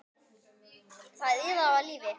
Það iðaði af lífi.